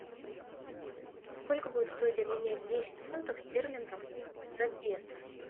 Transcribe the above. сколько будет стоить обменять десять фунтов стерлингов на песо